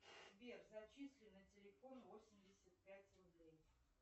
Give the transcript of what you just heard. сбер зачисли на телефон восемьдесят пять рублей